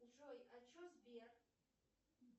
джой а че сбер